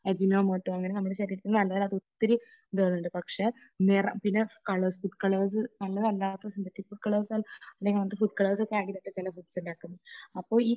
Ajinomoto അങ്ങനെ നമ്മുടെ ശരീരത്തിൽ നല്ലതല്ലാത്ത ഒത്തിരി ഇതുകൾ ഉണ്ട്. പക്ഷേ നിറം പിന്നെ കളേഴ്സ്, ഫുഡ് കളേഴ്സ് , നല്ലതല്ലാത്ത സിന്തറ്റിക് കളേഴ്സ്, അല്ലെങ്കിൽ അങ്ങനത്തെ ഫുഡ് കളേഴ്സ് ഒക്കെ ആഡ് ചെയ്തിട്ടാണ് ചില ഫുഡ്സ് ഉണ്ടാക്കുന്നത്. അപ്പൊ ഈ